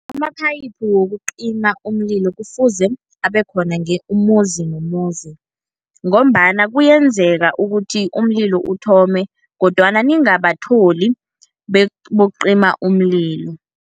Amaphayiphu wokucima umlilo kufuze abekhona umuzi nomuzi, ngombana kuyenzeka ukuthi umlilo uthome, kodwana ningabatholi bokucima umlilo.